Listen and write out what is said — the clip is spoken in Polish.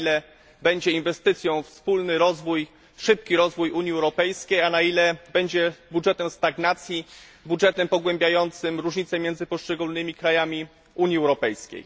Na ile będzie inwestycją we wspólny rozwój, szybki rozwój Unii Europejskiej, a na ile będzie budżetem stagnacji, budżetem pogłębiającym różnice między poszczególnymi krajami Unii Europejskiej.